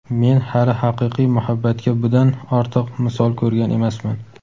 Men hali haqiqiy muhabbatga budan ortiq misol ko‘rgan emasman.